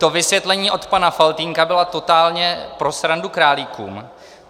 To vysvětlení od pana Faltýnka bylo totálně pro srandu králíkům.